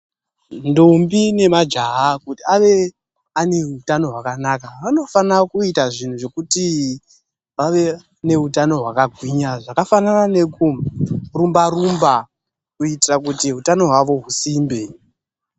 Ndombi nemajaha kuti ave aneutano hwakanaka, vanofana kuita zvinhu zvekuti vave neutano hwakagwinya zvakafanana nekurumba-rumba kuitira kuti utano hwavo husimbe.